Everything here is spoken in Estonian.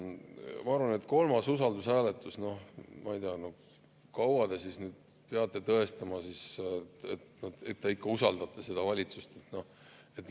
Ma arvan, et kolmas usaldushääletus – no ma ei tea, kui kaua te siis peate tõestama, et te ikka usaldate seda valitsust?